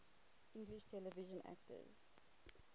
english television actors